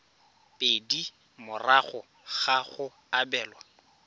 pedi morago ga go abelwa